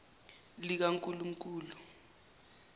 likankulunkulu